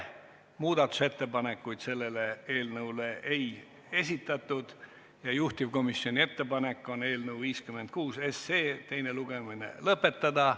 Muudatusettepanekuid selle eelnõu kohta ei esitatud ja juhtivkomisjoni ettepanek on eelnõu 56 teine lugemine lõpetada.